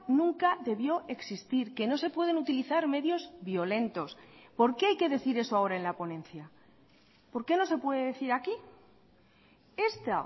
nunca debió existir que no se pueden utilizar medios violentos por qué hay que decir eso ahora en la ponencia por qué no se puede decir aquí esta